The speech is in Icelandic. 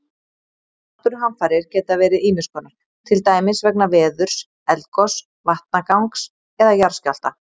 Náttúruhamfarir geta verið ýmis konar, til dæmis vegna veðurs, eldgoss, vatnagangs eða jarðskjálfta.